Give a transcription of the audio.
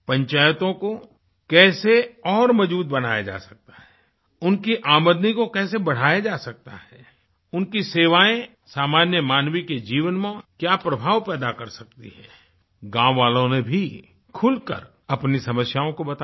पंचायतों को कैसे और मजबूत बनाया जा सकता है उनकी आमदनी को कैसे बढ़ाया जा सकता है उनकी सेवाएँ सामान्य मानवी के जीवन में क्या प्रभाव पैदा कर सकती हैं गाँव वालों ने भी खुलकर अपनी समस्याओं को बताया